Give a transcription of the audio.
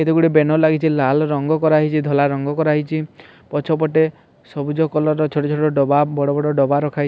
ଏଇଟା ଗୋଟେ ବ୍ୟାନର ଲାଗିଛି ଲାଲ୍ ରଙ୍ଗ କରା ହେଇଛି ଧଳା ରଙ୍ଗ କରା ହେଇଚି ପଛ ପଟେ ସବୁଜ କଲର୍ ର ଛୋଟ ଛୋଟ ଦବା ବଡ଼ ବଡ଼ ଦବା ରଖା ହେଇ --